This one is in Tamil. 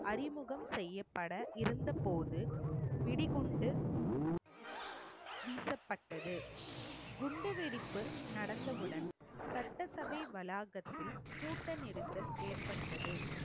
அறிமுகம் செய்யப்பட இருந்தபோது வெடிகுண்டு வீசப்பட்டது. குண்டு வெடிப்பு நடந்தவுடன் சட்டசபை வளாகத்தில் கூட்ட நெரிசல் ஏற்பட்டது